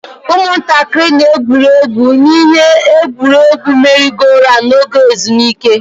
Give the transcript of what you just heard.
Ụmụntakịrị na-egwuri egwu n'ihe egwuriegwu merry-go-round n'oge ezumike.